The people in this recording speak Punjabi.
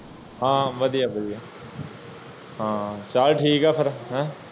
ਹਨ ਵਾਦੀਆਂ ਵਾਦੀਆਂ ਚਾਲ ਠੀਕ ਹੈ ਫਿਰ